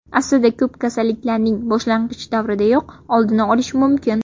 Aslida ko‘p kasalliklarning boshlang‘ich davridayoq oldini olish mumkin.